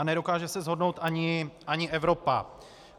A nedokáže se shodnout ani Evropa.